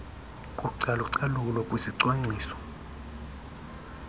kucalu calulo kwisicwangciso